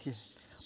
Por quê?